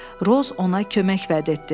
Roz ona kömək vəd etdi.